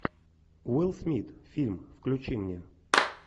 уилл смит фильм включи мне